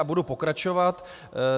A budu pokračovat.